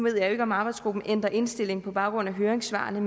jeg ikke om arbejdsgruppen ændrer indstilling på baggrund af høringssvarene